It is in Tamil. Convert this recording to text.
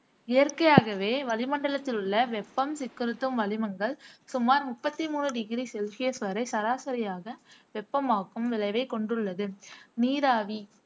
இயற்கையாகவே வளிமண்டலத்திலுள்ள வெப்பம் சிக்குறுத்தும் வளிமங்கள் சுமார் முப்பத்தி மூணு டிகிரி செல்சியஸ் வரை சராசரியாக வெப்பமாக்கும் விளைவைக் கொண்டுள்ளது நீராவி